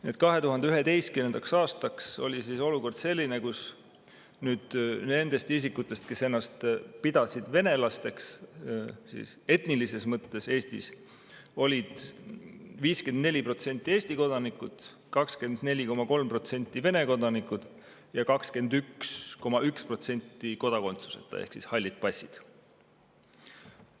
Nii et 2011. aastaks oli olukord selline, kus nendest isikutest, kes Eestis ennast pidasid etnilises mõttes venelasteks, olid 54% Eesti kodanikud, 24,3% Vene kodanikud ja 21,1% kodakondsuseta ehk halli passiga.